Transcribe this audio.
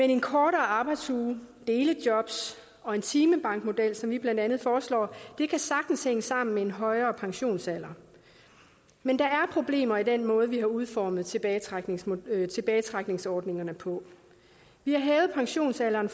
en kortere arbejdsuge delejobs og en timebankmodel som vi blandt andet foreslår kan sagtens hænge sammen med en højere pensionsalder men der er problemer i den måde vi har udformet tilbagetrækningsordningerne tilbagetrækningsordningerne på vi har hævet pensionsalderen